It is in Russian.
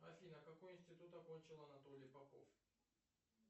афина какой институт окончил анатолий попов